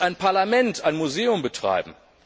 Muss ein Parlament ein Museum betreiben?